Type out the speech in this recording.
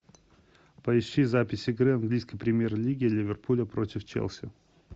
поищи запись игры английской премьер лиги ливерпуля против челси